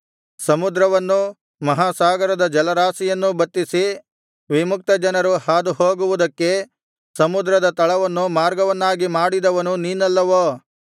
ಸಮುದ್ರವನ್ನೂ ಮಹಾಸಾಗರದ ಜಲರಾಶಿಯನ್ನೂ ಬತ್ತಿಸಿ ವಿಮುಕ್ತ ಜನರು ಹಾದುಹೋಗುವುದಕ್ಕೆ ಸಮುದ್ರದ ತಳವನ್ನು ಮಾರ್ಗವನ್ನಾಗಿ ಮಾಡಿದವನು ನೀನಲ್ಲವೋ